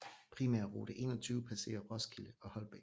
Primærrute 21 passerer Roskilde og Holbæk